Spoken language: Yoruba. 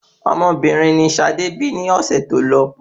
Ọmọbìnrin ni Sade bí ni ọ̀sẹ̀ tó lọ